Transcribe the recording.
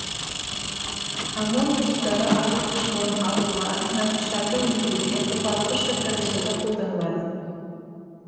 аммоний тұздары азот қышқылын алуға тыңайтқыштарды өндіруде қопарылғыш заттар жасауда қолданылады